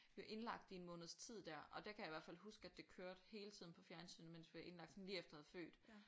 Vi var indlagt i en måneds tid der og der kan jeg i hvert fald huske det kørte hele tiden på fjernsynet mens vi var indlagt sådan lige efter jeg havde født